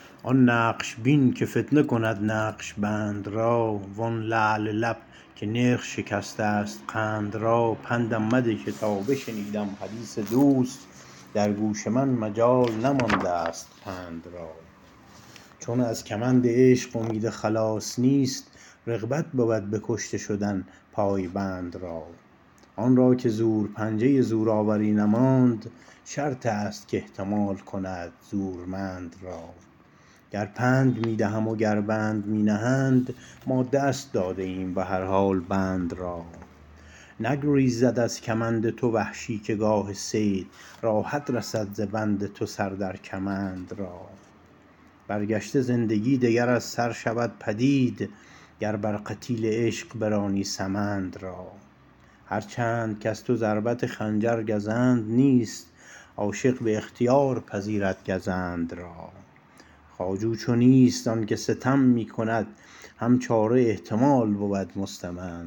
آن نقش بین که فتنه کند نقش بند را و آن لعل لب که نرخ شکستست قند را پندم مده که تا بشنیدم حدیث دوست در گوش من مجال نماندست پند را چون از کمند عشق امید خلاص نیست رغبت بود بکشته شدن پای بند را آن را که زور پنجه ی زورآوری نماند شرطست کاحتمال کند زورمند را گر پند می دهندم و گر بند می نهند ما دست داده ایم بهر حال بند را نگریزد از کمند تو وحشی که گاه صید راحت رسد ز بند تو سر در کمند را برکشته زندگی دگر از سر شود پدید گر بر قتیل عشق برانی سمند را هر چند کز تو ضربت خنجر گزند نیست عاشق باختیار پذیرد گزند را خواجو چو نیست زانکه ستم می کند شکیب هم چاره احتمال بود مستمند را